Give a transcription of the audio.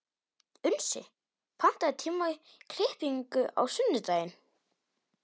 Unnsi, pantaðu tíma í klippingu á sunnudaginn.